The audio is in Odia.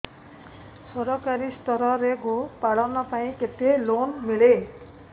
ସରକାରୀ ସ୍ତରରେ ଗୋ ପାଳନ ପାଇଁ କେତେ ଲୋନ୍ ମିଳେ